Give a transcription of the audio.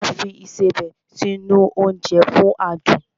A máa ń fi Ìṣebẹ̀ sí nu oúnjẹ fún adùn